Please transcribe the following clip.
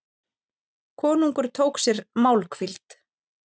Konungur tók sér málhvíld.